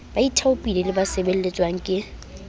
baithaopi le ba sebeletswang ke